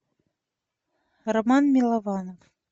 роман милованов